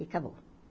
E acabou.